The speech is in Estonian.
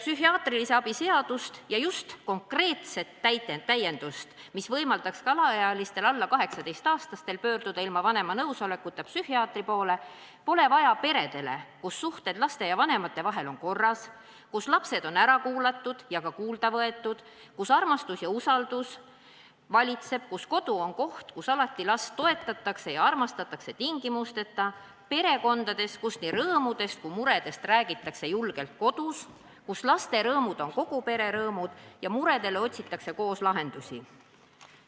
Psühhiaatrilise abi seadust ja just konkreetset täiendust, mis võimaldaks ka alaealistel, alla 18-aastastel pöörduda ilma vanema nõusolekuta psühhiaatri poole, pole vaja peredele, kus suhted laste ja vanemate vahel on korras, kus lapsed on ära kuulatud ja ka kuulda võetud, kus armastus ja usaldus valitseb, kus kodu on koht, kus alati last toetatakse ja armastatakse tingimusteta – perekondades, kus nii rõõmudest kui ka muredest räägitakse julgelt kodus, kus laste rõõmud on kogu pere rõõmud ja muredele otsitakse koos lahendusi.